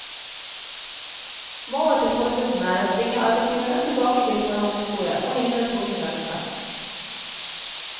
Målet til forbundene er å tvinge arbeidsgiverne tilbake til forhandlingsbordet og hindre tvungen lønnsnevnd.